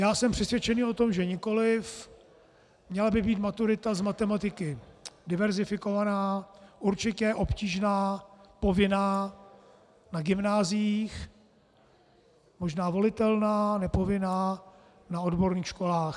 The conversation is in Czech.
Já jsem přesvědčený o tom, že nikoliv, měla by být maturita z matematiky diverzifikovaná, určitě obtížná, povinná na gymnáziích, možná volitelná, nepovinná na odborných školách.